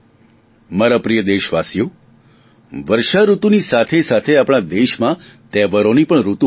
મારા પ્રિય દેશવાસીઓ વર્ષાઋતુની સાથે સાથે આપણા દેશમાં તહેવારોની પણ ઋતુ હોય છે